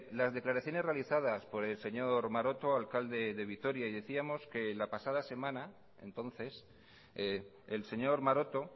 las declaraciones realizadas por el señor maroto alcalde de vitoria y decíamos que la pasada semana entonces el señor maroto